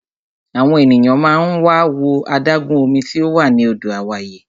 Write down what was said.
Àwọn ènìyàn máa ń wá wo adágún omi tí ò wà ní Àdó Àwáyé.